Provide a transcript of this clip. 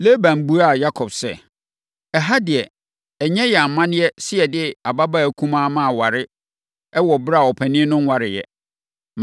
Laban buaa Yakob sɛ, “Ɛha deɛ, ɛnyɛ yɛn amanneɛ sɛ yɛde ɔbabaa kumaa ma aware wɔ ɛberɛ a ɔpanin no nwareeɛ.